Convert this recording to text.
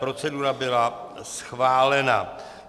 Procedura byla schválena.